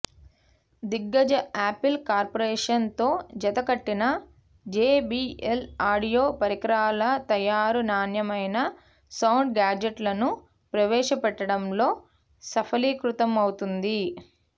దిగ్గజ Apple corporation తో జతకట్టిన జేబీఎల్ ఆడియో పరికరాల తయారు నాణ్యమైన సౌండ్ గ్యాడ్జెట్లను ప్రవేశపెట్టడంలో సఫలీకృతమవుతుంది